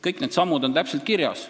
Kõik need sammud on täpselt kirjas.